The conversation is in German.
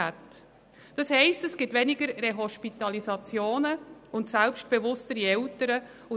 Dies würde bedeuten, dass es weniger Rehospitalisationen gibt und selbstbewusstere Eltern.